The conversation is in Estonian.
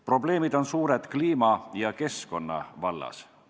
Probleemid on suured kliima ja keskkonna vallas.